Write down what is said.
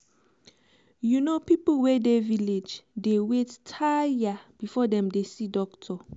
you know people wey dey village dey wait tire before dem dey see doctor.